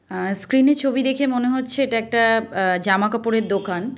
স্ক্রিনে ছবি দেখে মনে হচ্ছে এটা একটা অ্যা জামা কাপড়ের দোকান।